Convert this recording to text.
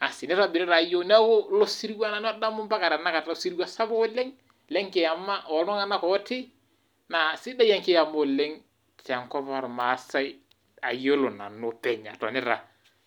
asi neirobiri taa yiok ,neeku ilo sirua nanu adamu mpaka tenakata, osiruwa sapuk oleng lenkiama oltunganak ooti naa sidai enkiama oleng tenkopang ormaasai ayiolo nanu openy atonita.